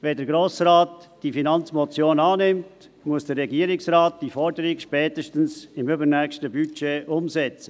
Wenn der Grosse Rat die Finanzmotion annimmt, muss der Regierungsrat die Forderung spätestens im übernächsten Budget umsetzen.